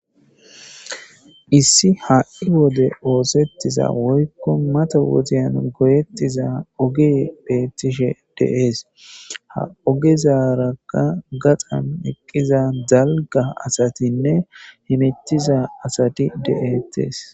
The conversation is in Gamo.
Issi ha7i wode oosetiza woyko mata wodiyan goyetiza ogey beetishe dees ha ogezaraka gaxan eqqiza dalgga asatinne hametiza asati de7etes.